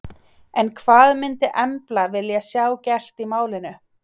En hvað myndi Embla vilja sjá gert í málinu?